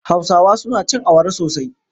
Hausawa suna cin awara sosai.